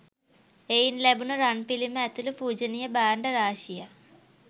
එයින් ලැබුණ රන්පිළිම ඇතුළු පූජනීය භාණ්ඩ රාශියක්